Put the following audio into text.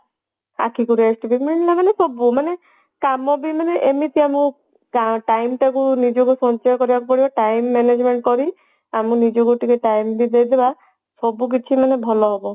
ଆଖିକି rest ବି ମିଳିଲା ମାନେ ସବୁ ମାନେ କମବି ମାନେ ଏମିତି ଆମେ ଟା time ଟା କୁ ନିଜକୁ ସଞ୍ଚୟ କରିବାକୁ ପଡିବ time management କରି ଆମେ ନିଜକୁ ଟିକେ time ବି ଦେଇଦେବା ସବୁ କିଛି ମାନେ ଭଲ ହେବ